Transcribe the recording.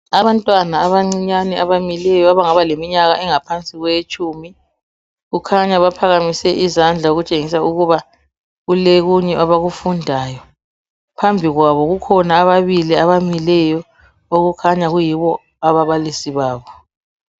Abantwana abancinyane abamileyo abangaba leminyaka engaphansi kwelitshumi kukhanya baphakamise izandla okutshengisa ukuba kulokunye abakufundayo phambi kwabo kukhona ababili abamileyo okukhanya kuyibo ababalisi babo.